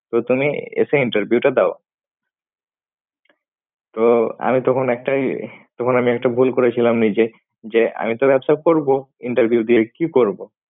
তো তুমি এসে interview টা দাও। তো আমি তখন একটাই তখন আমি একটা ভুল করেছিলাম নিজে যে আমি তো ব্যবসা করব interview দিয়ে কি করব?